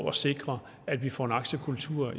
at sikre at vi får en aktiekultur